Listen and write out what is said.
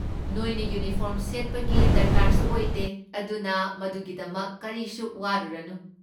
ꯅꯣꯏꯅ ꯌꯨꯅꯤꯐꯣꯔꯝ ꯁꯦꯠꯄꯒꯤ ꯗꯔꯀꯥꯔꯁꯨ ꯑꯣꯏꯗꯦ, ꯑꯗꯨꯅ ꯃꯗꯨꯒꯤꯗꯃꯛ ꯀꯔꯤꯁꯨ ꯋꯥꯔꯨꯔꯅꯨ꯫